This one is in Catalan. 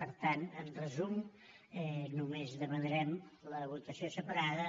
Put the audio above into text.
per tant en resum només demanarem la votació separada